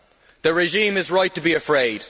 The regime is right to be afraid.